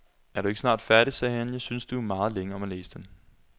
Er du ikke snart færdig, sagde han, jeg synes du er meget længe om at læse den.